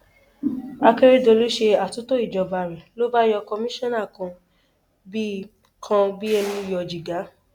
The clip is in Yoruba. akèrèdọlù ṣe àtúntò ìjọba rẹ ló bá yọ kọmíṣánná kan bíi kan bíi ẹni yọ jìgá